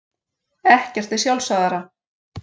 Ekkert er sjálfsagðara.